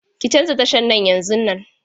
Ki canza tashan nan yanzun!